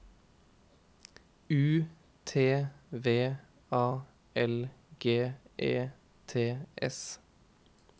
U T V A L G E T S